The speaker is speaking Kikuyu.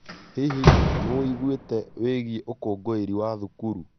Hihi, nĩ wĩuguĩte wĩgie ũkũngũĩri wa thukuru?